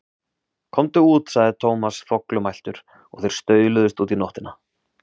Komdu út sagði Thomas þvoglumæltur og þeir stauluðust út í nóttina.